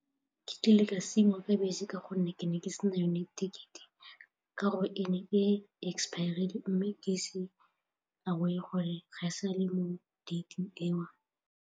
Ke kile ka siiwa ke bese ka gonne ke ne ke sena yone ticket-e ka gore e ne e expire-rile mme ke sa bone gore ga e sale mo date-ing eo.